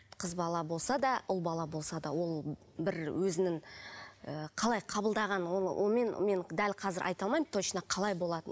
қыз бала болса да ұл бала болса да ол бір өзінің ы қалай қабылдаған оны мен мен дәл қазір айта алмаймын точно қалай болатынын